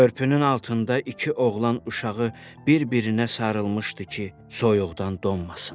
Körpünün altında iki oğlan uşağı bir-birinə sarılmışdı ki, soyuqdan donmasınlar.